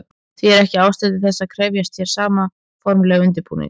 Því er ekki ástæða til þess að krefjast hér sama formlegs undirbúnings.